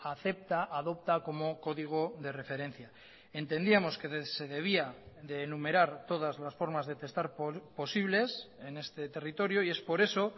acepta adopta como código de referencia entendíamos que se debía de enumerar todas las formas de testar posibles en este territorio y es por eso